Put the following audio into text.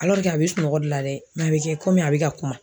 a be sunɔgɔ de la dɛ a bɛ kɛ komi a be ka kuma.